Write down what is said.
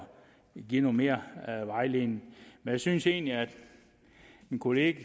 give noget mere vejledning jeg synes egentlig at min kollega